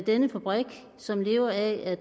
denne fabrik som lever af at